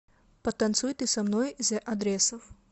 потанцуй ты со мной зе адресов